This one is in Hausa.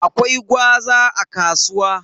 Akwai gwaza a kasuwa.